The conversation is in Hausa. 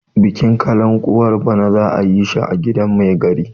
bikin kalankuwar bana za a yi shi a gidan Mai gari